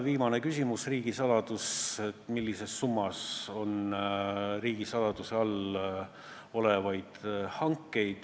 Viimane küsimus oli, millises summas on riigisaladuse all olevaid hankeid.